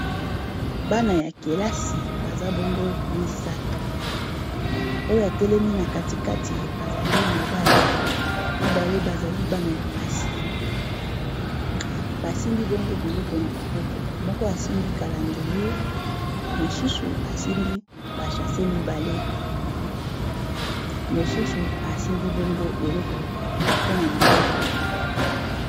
bana ya kelasi baza bongo misato oyo atelemi na katikati azali mobali, mibale bazali bana ya basi basimbi bongo biloko na maboko , moko asimbi calandrier ,mosusu asimbi ba saches mibale, mosusu asimbi bongo carton na maboko